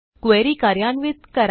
query कार्यान्वित करा